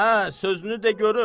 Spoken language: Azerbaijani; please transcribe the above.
Hə, sözünü de, görüm.